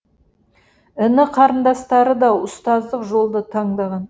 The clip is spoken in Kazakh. іні қарындастары да ұстаздық жолды таңдаған